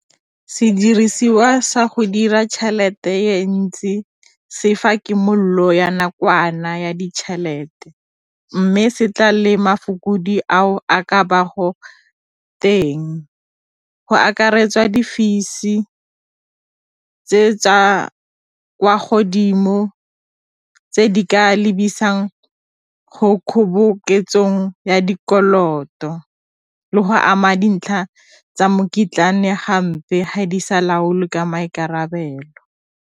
Sediriswa sa go dira tšhelete e ntsi se fa kimololo ya nakwana ya ditšhelete, mme se tla le ao a ka ba go teng, go akaretsa di-fees tse tsa kwa godimo tse di ka lebisang go kgoboketsong ya dikoloto le go ama dintlha tsa hampe ga di sa laolwe ka maikarabelo.